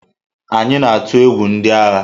Anyị na-atụ egwu ndị agha.